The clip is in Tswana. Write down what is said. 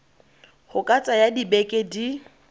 go ka tsaya dibeke di